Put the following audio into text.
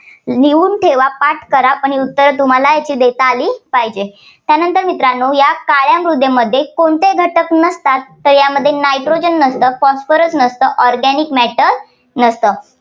लिहून ठेवा, पाठ करा, आणि उत्तर तुम्हाला याची देता आली पाहिजे. त्यानंतर मित्रांनो या काळ्या मृदेमध्ये कोणते घटक नसतात? तर यामध्ये nitrogen नसतं. phosphorus नसतं. organic matter नसतं.